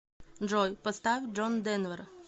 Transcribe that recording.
джой поставь джон дэнвер